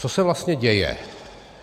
Co se vlastně děje?